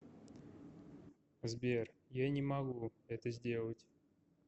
сбер я не могу это сделать